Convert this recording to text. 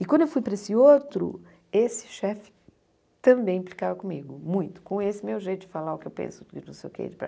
E quando eu fui para esse outro, esse chefe também ficava comigo, muito, com esse meu jeito de falar o que eu penso, não sei o que, para...